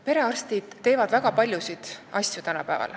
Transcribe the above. Perearstid teevad tänapäeval väga paljusid asju.